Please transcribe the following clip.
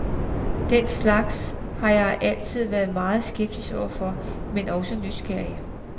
Den slags har jeg altid været meget skeptisk overfor, men også nysgerrig.